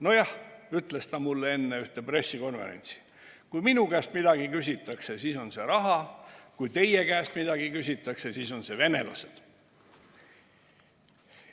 "Nojah," ütles ta mulle enne ühte pressikonverentsi, "kui minu käest midagi küsitakse, siis on see raha, kui teie käest midagi küsitakse, siis on see venelased.